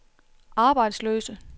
arbejdsløse